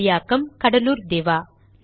மொழியாக்கம் கடலூர் திவா